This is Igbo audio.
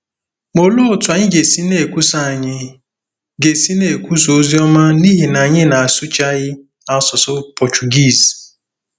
Ma olee otú anyị ga-esi na-ekwusa anyị ga-esi na-ekwusa ozi ọma n’ihi na anyị na-asụchaghị asụsụ Pọchugiiz?